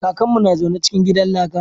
Kakan mu na zaune cikin gidan laka